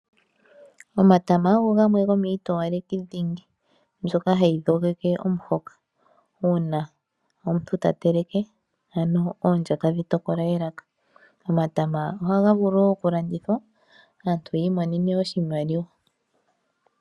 Omatama ogo gamwe gomiitowaleki dhingi, mbyoka hayi dhogeke omuhoka, uuna omuntu ta teleke ano oondya tadhi tokola elaka. Omatama ohaga vulu woo oku landithwa, aantu yiimonene oshimaliwa.